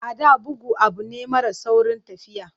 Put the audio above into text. A da, bugu abu ne mara saurin tafiya.